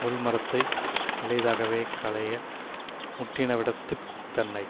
முள்மரத்தை இளைதாகவே களைக முற்றினவிடத்துத் தன்னை